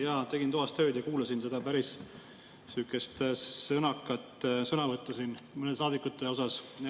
Jaa, tegin toas tööd ja kuulasin seda päris sõnakat sõnavõttu siin mõnede saadikute kohta.